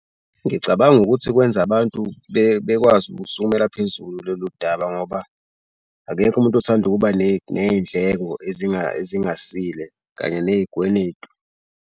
Ngicabanga ukuthi kwenza abantu bekwazi ukusukumela phezulu lolu daba ngoba akekho umuntu othanda ukuba ney'ndleko ezingasile kanye ney'kweletu.